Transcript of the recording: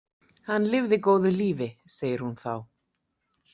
Hann lifði góðu lífi, segir hún þá.